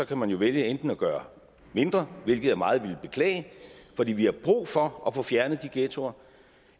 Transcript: kan man jo vælge enten at gøre mindre hvilket jeg meget ville beklage fordi vi har brug for at få fjernet de ghettoer